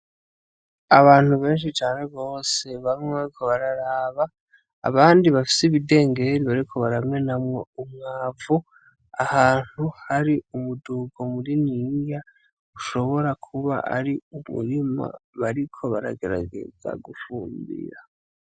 Abantu benshi cane gose baguma bariko bararaba, abandi bafise ibidengeri bariko baramenamwo umwavu ahantu hari umudugo muniniya, ushobora kuba ari umurima bariko baragerageza gufungira.